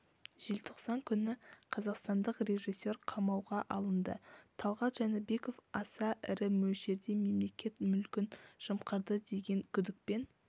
желтоқсан күні қазақстандық режиссер қамауға алынды талғат жәнібеков аса ірі мөлшерде мемлекет мүлкін жымқырды деген күдікпен